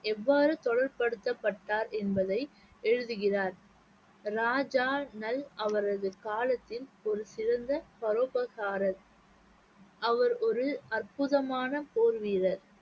எவ்வாறு தொடர்புபடுத்தப்பட்டார் என்பதை எழுதுகிறார் ராஜா நல் அவரது காலத்தின் ஒரு சிறந்த பரோபகாரர் அவர் ஒரு அற்புதமான போர் வீரர்